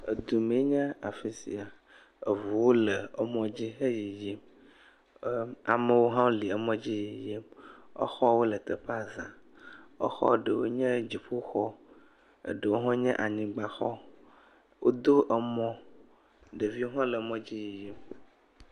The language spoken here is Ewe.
Edumee nye afi sia. Eŋuwo le emɔdzi eyiyim. Amewo hã le emɔdzi yiyim. Exɔwo le teƒea zã. Exɔ ɖewo nye dziƒoxɔ eye eɖewo nye anyigbaxɔ. Wodo emɔ. Ɖeviwo hã le mɔdzi yiyim.